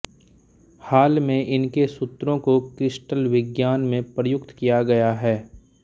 हाल में इनके सूत्रों को क्रिस्टलविज्ञान में प्रयुक्त किया गया है